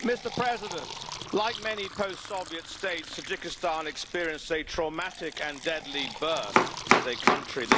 Mr President, like many post Soviet states Tajikistan experienced a traumatic and deadly birth as a country.